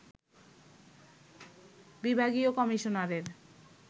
বিভাগীয় কমিশনারের